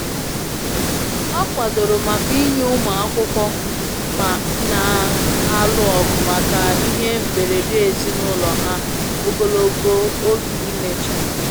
Ọ kwadoro maka inye ụmụ akwụkwọ na-alụ ọgụ maka ihe mberede ezinụlọ ha ogologo oge imecha.